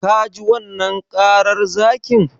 Ka ji wannan karar zakin?